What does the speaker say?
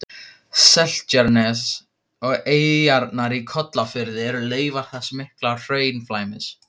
Seltjarnarnes og eyjarnar í Kollafirði eru leifar þessa mikla hraunflæmis.